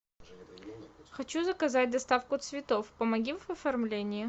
хочу заказать доставку цветов помоги в оформлении